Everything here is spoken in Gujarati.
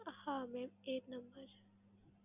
હા mam એજ number છે.